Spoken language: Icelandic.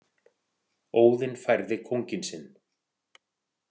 Óðinn færði kónginn sinn.